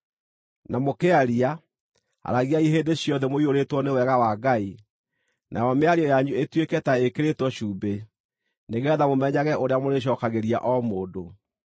Na mũkĩaria, aragiai hĩndĩ ciothe mũiyũrĩtwo nĩ wega wa Ngai, nayo mĩario yanyu ĩtuĩke ta ĩkĩrĩtwo cumbĩ, nĩgeetha mũmenyage ũrĩa mũrĩcookagĩria o mũndũ.